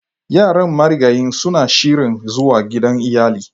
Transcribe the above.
Yaran marigayin suna shirin zuwa gidan iyali.